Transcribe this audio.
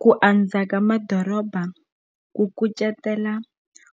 Ku andza ka madoroba ku kucetela